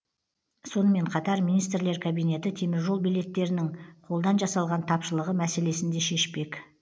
сонымен қатар министрлер кабинеті теміржол билеттерінің қолдан жасалған тапшылығы мәселесін де шешпек